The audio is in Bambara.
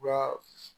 Ka